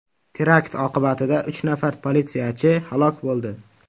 Terakt oqibatida uch nafar politsiyachi halok bo‘ldi.